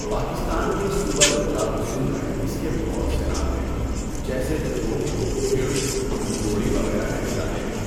پاکستان کے صوبہ پنجاب و سندھ میں اس کے بہت سے نام ہیں، جیسے دھبوک ، بھڑ ، دھَنْبوڑی وغیرہ کہے جاتے ہیں۔